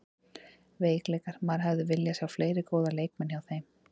Veikleikar: Maður hefði viljað sjá fleiri góða leikmenn hjá þeim.